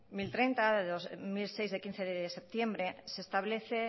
mil treinta de dos mil seis de quince de septiembre se establece